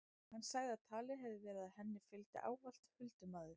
Hann sagði að talið hefði verið að henni fylgdi ávallt huldumaður.